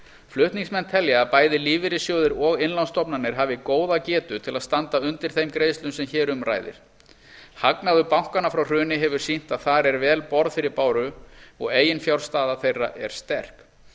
flutningsmenn telja að bæði lífeyrissjóðir og innlánsstofnanir hafi góða getu til að standa undir þeim greiðslum sem hér um ræðir hagnaður bankanna frá hruni hefur sýnt að þar er vel borð fyrir báru og eiginfjárstaða þeirra er sterk